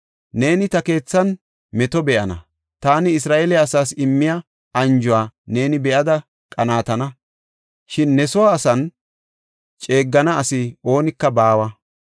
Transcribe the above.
Neeni ta keethan meto be7ana; taani Isra7eele asaas immiya anjuwa neeni be7ada qanaatana; shin ne soo asan ceeggana asi oonika baawa.